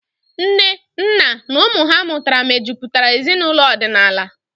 Nne, nna, na ụmụ ha mụtara mejutara ezinaụlọ ọdịnala.